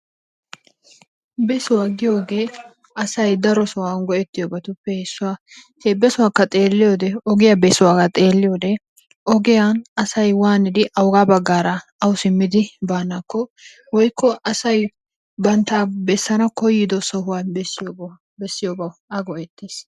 Besuwa giyogee asayi daro sohuwawu go'ettiyobatuppe issuwa he besuwakka xeelliyode ogiya besuwa xeelliyode ogiyan asayi waanidi awugaa baggaara awu simmidi baanaakko woykko asayi bantta bessana koyyido sohuwa bessiyobawu go'aa go"ettes.